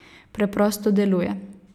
Preprosto deluje.